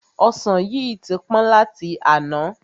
Ọsan yìí tí pọ́n láti àná.